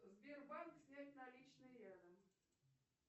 сбербанк снять наличные рядом